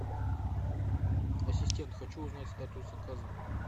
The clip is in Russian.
ассистент хочу узнать статус заказа